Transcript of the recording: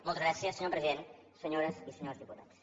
moltes gràcies senyor president senyors i senyors diputats